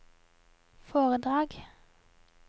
foredrag